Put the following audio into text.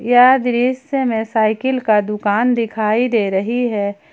यह दृश्य में साइकिल का दुकान दिखाई दे रही है।